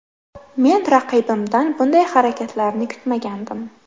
Men raqibimdan bunday harakatlarni kutmagandim.